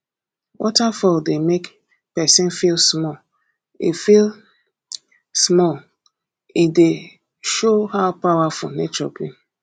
waterfall dey make pesin feel small e feel small e dey show how powerful nature be